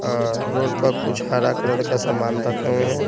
अ road पर कुछ हरा कलर का सामान रखे हुए हैं।